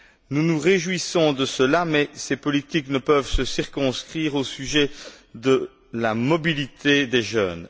Nous nous réjouissons de cela, mais ces politiques ne peuvent se circonscrire au sujet de la mobilité des jeunes.